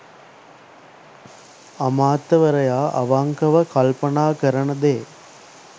අමාත්‍යවරයා අවංකව කල්පනා කරන දේ